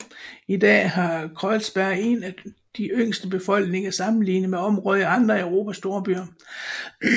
I dag har Kreuzberg en af de yngste befolkninger sammenlignet med områder i andre af Europas storbyer